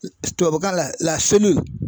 Tubabukan la